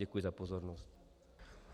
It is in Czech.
Děkuji za pozornost.